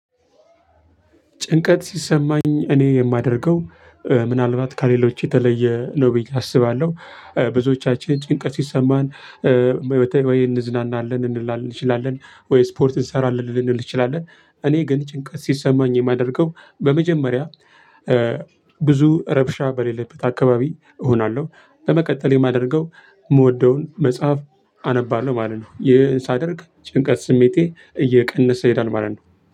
ጭንቀት ሲሰማኝ እኔ የማደርገው ምናልባት ከሌሎች የተለየ ነው ብዬ አስባለሁ ብዙዎቻችን ጭንቀት ሲሰማን መቴ ወይ እንዝናናለን እንላለን እንችላለን ወይ ስፖርት እንሰራለን ልንል እንችላለን እኔ ግን ጭንቀት ሲሰማኝ የማደርገው በመጀመሪያ ብዙ ረብሻ በሌለበት አካባቢ እሆናለሁ። በመቀጠል የማደርገው የምወደውን መጽሐፍ አነባለሁ ማለት ነው። ይህን ሳደርግ ጭንቀት ስሜቴ እየቀነሰ ይሄዳል ማለት ነው።